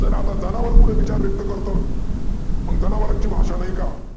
SIR आता जनावर कुठे विचार व्यक्त करतो मग जनावरांची भाषा नाही का?